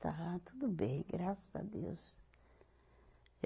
Está tudo bem, graças a Deus.